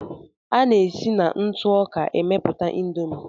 A na-esi na ntụ ọka emeputa Indomie.